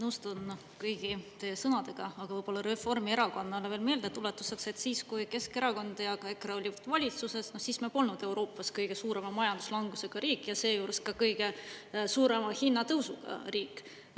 Ma nõustun kõigi sõnadega, aga võib-olla Reformierakonnale veel meeldetuletuseks, et siis kui Keskerakond ja EKRE olid valitsuses, siis me polnud Euroopas kõige suurema majanduslangusega riik ja seejuures ka kõige suurema hinnatõusuga riik.